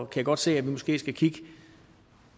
kan godt se at vi måske skal kigge